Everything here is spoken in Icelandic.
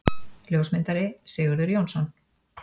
Ljósmyndari: Sigurður Jónsson.